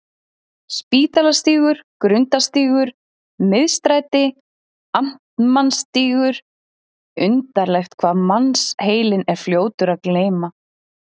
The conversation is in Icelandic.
Spítalastígur, Grundarstígur, Miðstræti, Amtmannsstígur undarlegt hvað mannsheilinn er fljótur að gleyma.